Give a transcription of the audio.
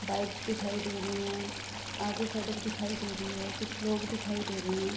Bikes दिखाई दे रही है आगे सड़क दिखाई दे रही है कुछ लोग दिखाई दे रही है।